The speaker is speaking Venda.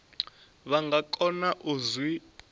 vha nga kona u zwi